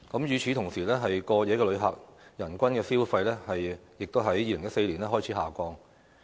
與此同時，過夜旅客人均消費亦在2014年開始下降。